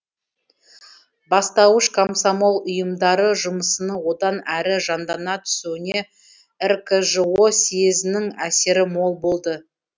бастауыш комсомол ұйымдары жұмысының одан әрі жандана түсуіне ркжоііі съезінің әсері мол болды